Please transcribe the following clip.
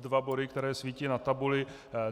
dva body, které svítí na tabuli.